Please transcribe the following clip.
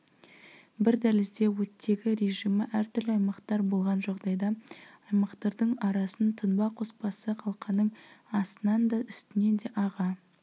бір дәлізде оттегі режимі әртүрлі аймақтар болған жағдайда аймақтардың арасын тұнба қоспасы қалқаның астынан да үстінен де аға